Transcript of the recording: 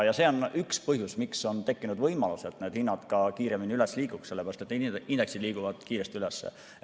See on üks põhjus, miks on tekkinud võimalus, et need hinnad ka kiiremini üles liiguks, sellepärast et indeksid liiguvad kiiresti üles.